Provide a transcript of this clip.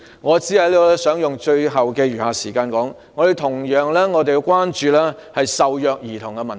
我想利用僅餘的時間指出，我們必須同樣關注受虐兒童的問題。